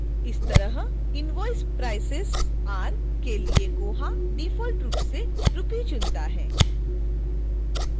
इसी तरह invoice prices are के लिए koha डिफॉल्ट रूप से rupee चुनता है